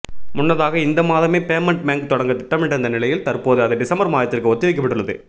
முன்னதாக இந்த மாதமே பேமெண்ட் பேங்க் தொடங்க திட்டமிட்டிருந்த நிலையில் தற்போது அது டிசம்பர் மாதத்திற்கு ஒத்தி வைக்கப்பட்டுள்ளது